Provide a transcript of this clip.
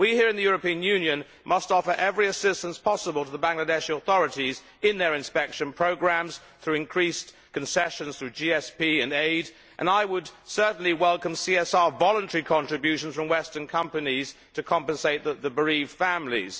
We here in the European Union must offer every assistance possible to the Bangladeshi authorities in their inspection programmes through increased concessions through GSP and aid, and I would certainly welcome CSR voluntary contributions from Western companies to compensate the bereaved families.